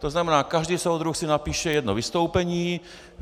To znamená, každý soudruh si napíše jedno vystoupení.